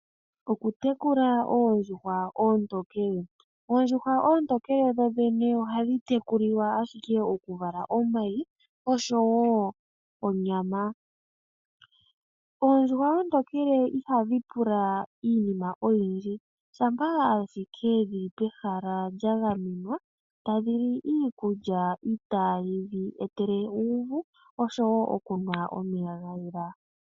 Okutekula oondjuhwa oontokele. Oondjuhwa oontokele dho dhene ohadhi tekulilwa ashike oku vala omayi osho woo onyama. Oondjuhwa oontokele iha dhi pula iinima oyindji shampa ashike dhili pehala lya gamenwa ta dhi li iikulya mbi itayi dhi etele uuvu, osho woo okunwa omeya ga yela.